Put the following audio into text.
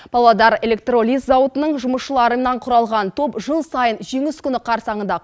павлодар электролиз зауытының жұмысшыларынан құралған топ жыл сайын жеңіс күні қарсаңында